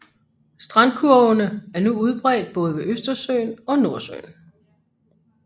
Strandkurvene er nu udbredt både ved Østersøen og Nordsøen